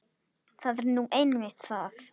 Það er nú einmitt það!